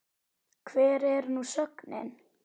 Hver er nú sögnin?